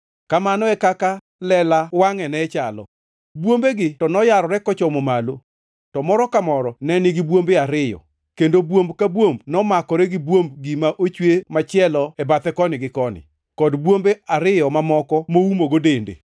Kamano e kaka lela wangʼe ne chalo. Bwombegi noyarore kochomo malo, to moro ka moro ne nigi bwombe ariyo, kendo bwomb ka bwomb nomakore gi bwomb gima ochwe machielo e bathe koni gi koni, kod bwombe ariyo mamoko moumogo dende.